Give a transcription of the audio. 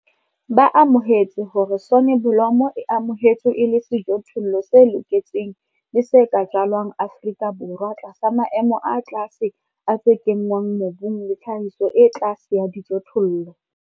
Ba amohetse hore soneblomo e amohetswe e le sejothollo se loketseng le se ka jalwang Afrika Borwa tlasa maemo a tlase a tse kenngwang mobung le tlhahiso e tlase ya dijothollo.